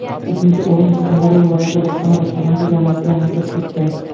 Uchinchi o‘rin Surxondaryo viloyati bojxona boshqarmasi jamoasiga nasib etdi.